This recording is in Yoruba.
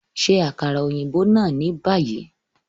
Ṣe akara oyinbo naa ni bayi!